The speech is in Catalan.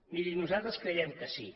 miri nosaltres creiem que sí